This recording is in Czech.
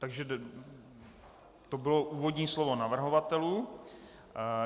Takže to bylo úvodní slovo navrhovatelů.